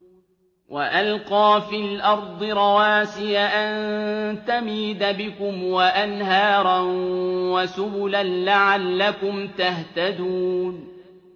وَأَلْقَىٰ فِي الْأَرْضِ رَوَاسِيَ أَن تَمِيدَ بِكُمْ وَأَنْهَارًا وَسُبُلًا لَّعَلَّكُمْ تَهْتَدُونَ